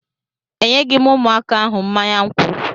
Enyeghị m ụmụaka ahụ mmanya nkwụ